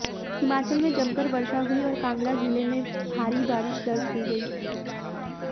हिमाचल में जमकर वर्षा हुई और कांगड़ा जिले में भारी बारिश दर्ज की गई